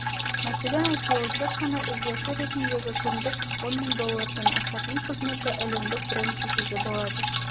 мәселен оое тек қана іздеуші ретіндегі күндік сы он мың доллордан асадыоое қызметі әлемдік бренд десе де болады